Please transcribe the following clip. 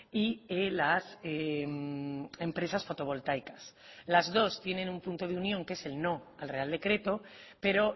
y las empresas fotovoltaicas las dos tienen un punto de unión que es el no al real decreto pero